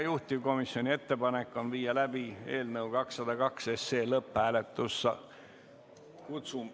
Juhtivkomisjoni ettepanek on viia läbi eelnõu 202 lõpphääletus.